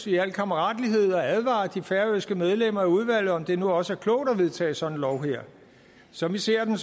i al kammeratlighed at advare de færøske medlemmer af udvalget om det nu også er klogt at vedtage sådan en lov her som vi ser den